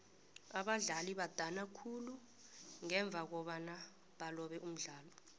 abadlali badana khulu ngemva kobana balobe umdlalo